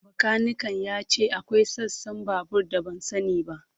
Bakanikan ya ce akwai sassan babur da ban sani ba.